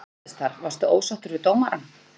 Hvað gerðist þar, varstu ósáttur við dómarann?